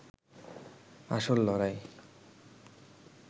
আসল লড়াই